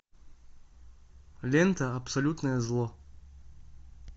лента абсолютное зло